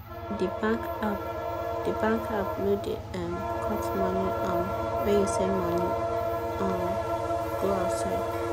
de bankapp de bankapp no da um cut money um when you send money um go outside